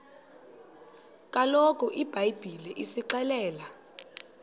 kaloku ibhayibhile isixelela